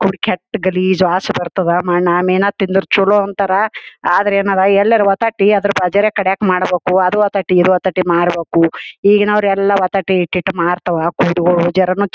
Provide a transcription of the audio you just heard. ಖೊಡಿ ಕೆಟ್ಟ ಗಲೀಜ್ ವಾಸ ಬರ್ತಾದ ಮಣ್ಣ ಮಿನ್ ತಿಂದರ್ ಚೊಲೊ ಅಂತಾರ್ ಆದರ ಏನ್ ಅದ ಎಲ್ಲರೆ ಮಾಡಬೇಕು ಅದು ವತಟಿ ಇದು ವತಟಿ ಮಾಡಬೆಕು ಈಗಿನವರು ಎಲ್ಲಾ ವತಟಿ ಇಟ್ಟ ಮರ್ತಾವ ಕೊಡಿಗೊಳ --